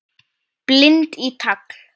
Bind í tagl.